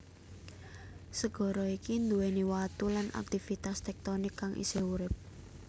Segara iki nduwèni watu lan aktivitas tektonik kang isih urip